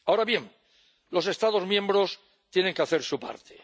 Ahora bien, los Estados miembros tienen que hacer su parte.